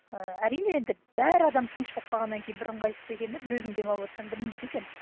ы әрине енді бәрі адам тыныш болып қалғаннан кейін бір ыңғайсыз екен да бір өзің демалыватсаң білінбейді екен